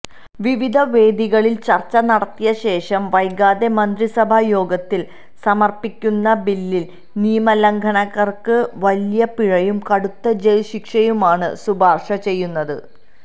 വിവിധ വേദികളില് ചര്ച്ച നടത്തിയശേഷം വൈകാതെ മന്ത്രിസഭായോഗത്തില് സമര്പ്പിക്കുന്ന ബില്ലില് നിയമലംഘകര്ക്ക് വലിയ പിഴയും കടുത്ത ജയില് ശിക്ഷയുമാണ് ശുപാര്ശചെയ്യുന്നത്